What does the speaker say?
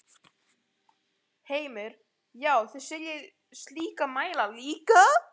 Heimir: Já, þið seljið slíka mæla líka?